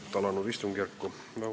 Ilusat alanud istungjärku!